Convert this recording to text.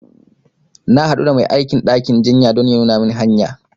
Na haɗu da mai aikin ɗakin jinya don ya nuna min hanya